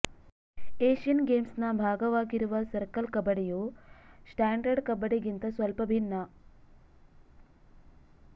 Asian ಗೇಮ್ಸ್ನ ಭಾಗವಾಗಿರುವ circle ಕಬಡ್ಡಿಯು ಸ್ಟಾಂಡರ್ಡ್ ಕಬಡ್ಡಿಗಿಂತ ಸ್ವಲ್ಪ ಭಿನ್ನ